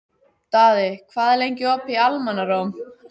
Daði, hvað er lengi opið í Almannaróm?